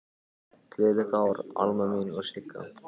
Gleðilegt ár, Alma mín og Sigga.